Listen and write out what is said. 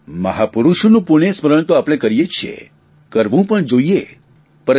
આપણે મહાપૂરૂષોનું પુણ્ય સ્મરણ તો આપણે કરીએ છીએ જ કરવું પણ જોઇએ